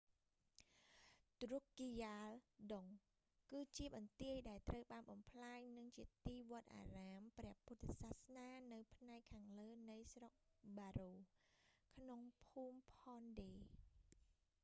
ឌ្រុគគីយ៉ាលដុង drukgyal dzong គឺជាបន្ទាយ ដែលត្រូវបានបំផ្លាញ និងជាទីវត្តអារាមព្រះពុទ្ធសាសនានៅផ្នែកខាងលើនៃស្រុកប៉ារ៉ូ paro ក្នុងភូមិផនឌេ phondey ។